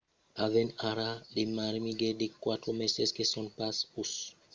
"avèm ara de mirguetas de 4 meses que son pas pus diabeticas e qu’èran diabeticas abans, apondèt